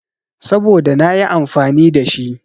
Saboda nayi amfani da shi.